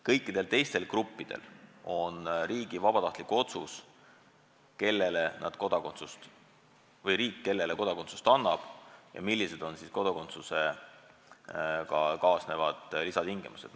Kõikide teiste gruppide puhul otsustab riik, kellele ta kodakondsuse annab ja millised on siis kodakondsusega kaasnevad lisatingimused.